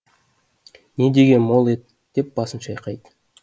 не деген мол ет деп басын шайқайды